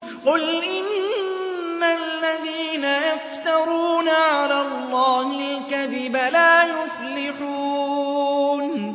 قُلْ إِنَّ الَّذِينَ يَفْتَرُونَ عَلَى اللَّهِ الْكَذِبَ لَا يُفْلِحُونَ